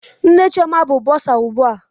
Nne Chioma bụ bọsa ugbu a.